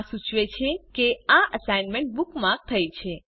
આ સૂચવે છે કે આ સાઇટ બુકમાર્ક થઇ છે